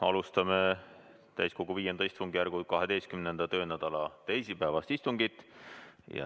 Alustame täiskogu V istungjärgu 12. töönädala teisipäevast istungit.